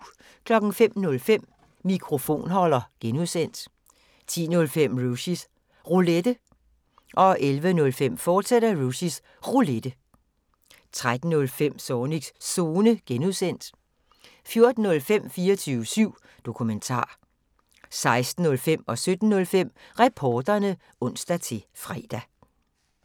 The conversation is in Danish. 05:05: Mikrofonholder (G) 10:05: Rushys Roulette 11:05: Rushys Roulette, fortsat 13:05: Zornigs Zone (G) 14:05: 24syv Dokumentar 16:05: Reporterne (ons-fre) 17:05: Reporterne (ons-fre)